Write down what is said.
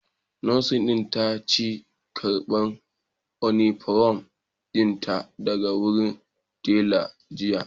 Nurse din ta ki karban Uniform dinta daga wurin tela jiya